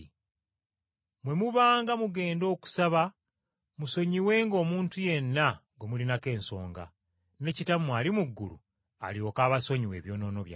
Bwe mubanga mugenda okusaba musonyiwenga omuntu yenna gwe mulinako ensonga, ne Kitammwe ali mu ggulu alyoke abasonyiwe ebyonoono byammwe.